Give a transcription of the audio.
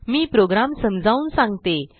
मी program समजावून सांगते